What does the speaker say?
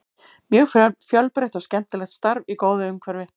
Mjög fjölbreytt og skemmtilegt starf í góðu umhverfi.